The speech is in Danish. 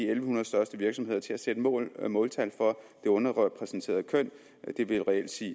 en hundrede største virksomheder til at sætte måltal måltal for det underrepræsenterede køn det vil reelt sige